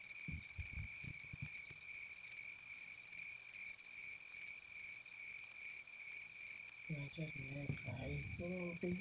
ore ena naa enkoitoi naitobi endaa nasht osesen-natii alfalfa, caliandra, vechi oo mboosho naibor erook